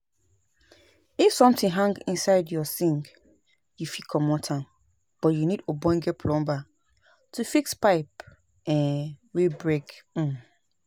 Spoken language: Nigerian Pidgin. if something hang inside your sink you fit comot am but you need ogbonge plumber to fix pipe um wey break um